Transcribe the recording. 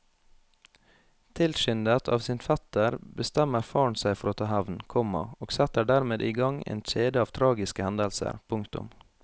Tilskyndet av sin fetter bestemmer faren seg for å ta hevn, komma og setter dermed i gang en kjede av tragiske hendelser. punktum